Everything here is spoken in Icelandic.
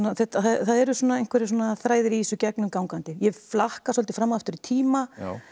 það eru svona einhverjir þræðir í þessu gegnumgangandi ég flakka svolítið fram og aftur í tíma